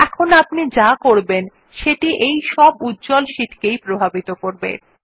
এখন আপনি যা করবেন সেটাই সব উজ্জ্বল শীট গুলিকে প্রভাবিত করবে